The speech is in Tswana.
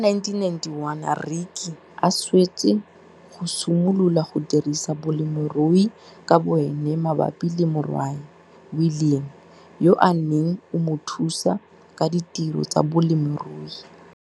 Ka 1991 Rykie a swetse go simolola go dirisa bolemirui ka boene mabapi le morwae, William, yo a neng o mo thusa ka ditiro tsa bolemirui.